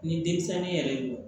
Ni denmisɛnnin yɛrɛ jɔ